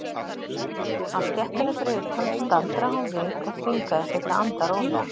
Á stéttinni fyrir utan staldraði hún við og þvingaði sig til að anda rólega.